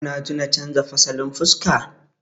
kuna tana canja fasalin fuska